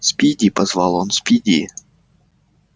спиди позвал он спиди